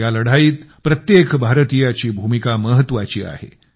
या लढाईत प्रत्येक भारतीयाची भूमिका महत्वाची आहे